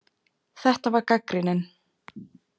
Þetta var gagnrýnin